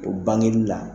O bangeli la